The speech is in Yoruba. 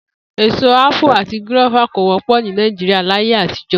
Èso ápù àti gúró̩fà kò wó̩pò̩ Nàìjíríà láyé àtijó̩